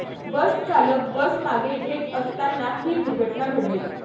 बसचालक बस मागे घेत असताना ही दुर्घटना घडली.